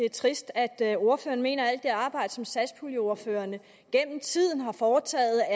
er trist at ordføreren mener at alt det arbejde som satspuljeordførerne gennem tiden har foretaget